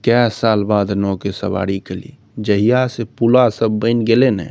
कय साल बाद नोव के सवारी कयली जहिया से पुला सब बेन गएले न --